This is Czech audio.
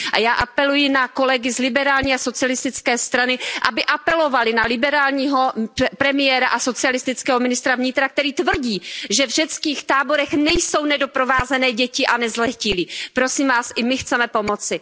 Já apeluji na kolegy z liberální a socialistické strany, aby apelovali na liberálního premiéra a socialistického ministra vnitra, který tvrdí, že v řeckých táborech nejsou nedoprovázené děti a nezletilí. Prosím vás, i my chceme pomoci.